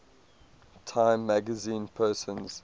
time magazine persons